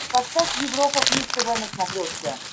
поставь европа плюс тв на смотрешке